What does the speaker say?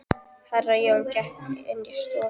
Herra Jón gekk inn í stofuna.